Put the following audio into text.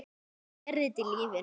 Þannig er þetta í lífinu.